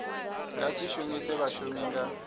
nga si shumise vhashumi nga